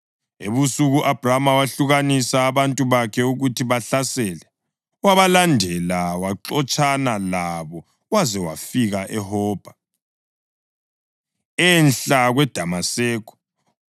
Ebusuku u-Abhrama wehlukanisa abantu bakhe ukuthi babahlasele, wabalandela, waxotshana labo waze wafika eHobha, enhla kweDamaseko.